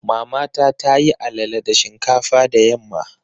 Mamata ta yi alala da shinkafa da yamma.